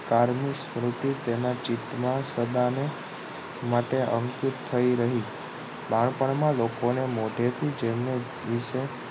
કારની સ્મૃતિ તેના ચિતમા સદાને માટે અંકીત થઈ રહી બાળપણમા લોકોને મોઢેથી જેમને વિશે